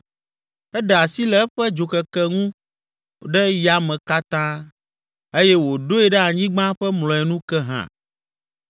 Eɖe asi le eƒe dzokeke ŋu ɖe yame katã eye wòɖoe ɖe anyigba ƒe mlɔenu ke hã